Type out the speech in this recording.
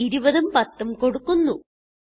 ഇവിടെ 20 ഉം 10 ഉം കൊടുക്കുന്നു